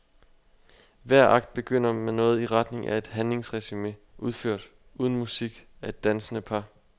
Hver akt begynder med noget i retning af et handlingsresume, udført, uden musik, af et dansende par.